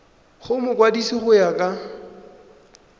go mokwadise go ya ka